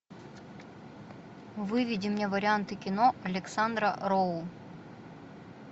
выведи мне варианты кино александра роу